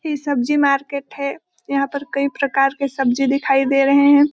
ये सब्जी मार्केट है यहां पर कई प्रकार के सब्जी दिखाई दे रहे हैं ।